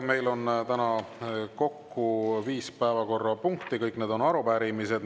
Meil on täna kokku viis päevakorrapunkti, kõik need on arupärimised.